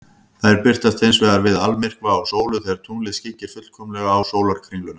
Þær birtast hins vegar við almyrkva á sólu, þegar tunglið skyggir fullkomlega á sólarkringluna.